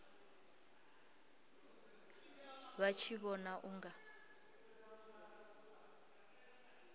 vha tshi vhona u nga